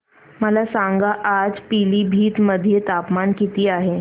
मला सांगा आज पिलीभीत मध्ये तापमान किती आहे